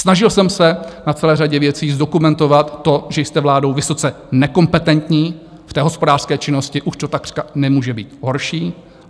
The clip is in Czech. Snažil jsem se na celé řadě věcí zdokumentovat to, že jste vládou vysoce nekompetentní, v té hospodářské činnosti už to takřka nemůže být horší.